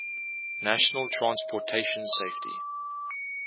national transportation safety